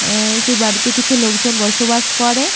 আহ সেই বাড়িতে কিছু লোকজন বসবাস করে।